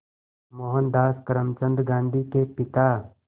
मोहनदास करमचंद गांधी के पिता